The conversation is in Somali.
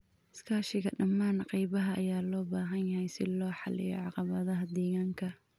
Iskaashiga dhammaan qaybaha ayaa loo baahan yahay si loo xalliyo caqabadaha deegaanka.